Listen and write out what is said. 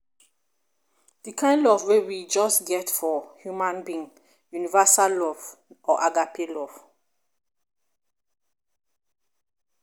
di kind of love wey we just get for human being universal love or agape love